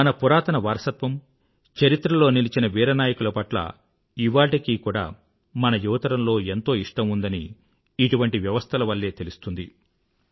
మన పురాతన వారసత్వం చరిత్రలలో నిలిచిన వీర నాయకుల పట్ల ఇవాళ్టికి కూడా మన యువతరంలో ఎంతో ఇష్టం ఉందని ఇటువంటి వ్యవస్థల వల్లే తెలుస్తుంది